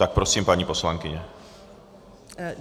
Tak prosím, paní poslankyně.